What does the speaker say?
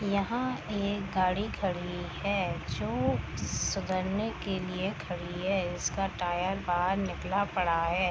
यहाँ एक गाडी खड़ी है जो सुधरने के लिए खड़ी है। इसका टायर बाहर निकला पड़ा है।